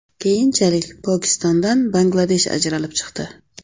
Keyinchalik Pokistondan Bangladesh ajralib chiqdi.